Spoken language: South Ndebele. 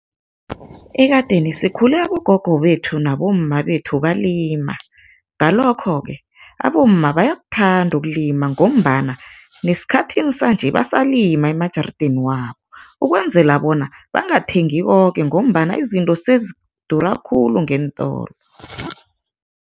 Ekadeni sikhule abogogo bethu nabomma bethu balima, ngalokho-ke abomma bayakuthanda ukulima ngombana nesikhathini sanje basalima emajarideni wabo, ukwenzela bona bangathengi koke ngombana izinto sezidura khulu ngeentolo.